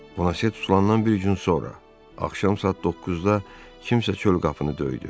Bonase tutulandan bir gün sonra, axşam saat doqquzda kimsə çöl qapını döydü.